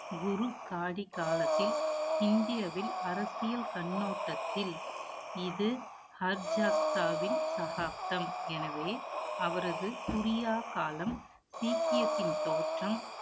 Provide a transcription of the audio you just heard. குரு காதி காலத்தில், இந்தியாவில் அரசியல் கண்ணோட்டத்தில், இது ஹர்ஜாத்தாவின் சகாப்தம். எனவே, அவரது புரியா காலம், சீக்கியத்தின் தோற்றம்